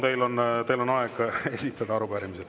Palun, teil on aega esitada arupärimised.